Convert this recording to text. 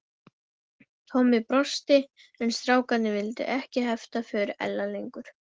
Tommi brosti en strákarnir viltu ekki hefta för Ella lengur.